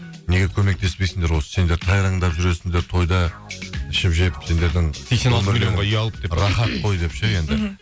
неге көмектеспейсіңдер осы сендер тайраңдап жүресіңдер тойда ішіп жеп сендердің рахат қой деп ше енді мхм